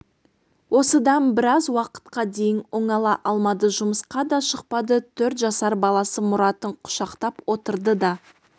осыдан біраз уақытқа дейін оңала алмады жұмысқа да шықпады төрт жасар баласы мұратын құшақтап отырды да